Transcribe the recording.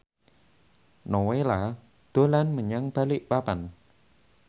Nowela dolan menyang Balikpapan